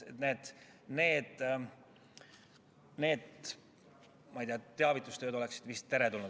Nii et teavitustöö on vist teretulnud.